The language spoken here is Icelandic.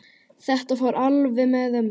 Þetta fór alveg með ömmu.